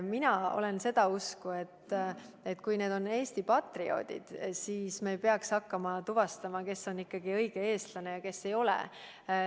Mina olen seda usku, et kui inimene on Eesti patrioot, siis me ei peaks hakkama tuvastama, kas ta ikka on õige eestlane või ei ole.